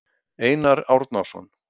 Einar Árnason.